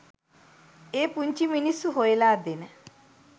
ඒ පුංචි මිනිස්‌සු හොයලා දෙන